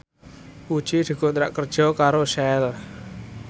Puji dikontrak kerja karo Shell